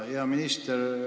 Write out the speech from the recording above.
Hea minister!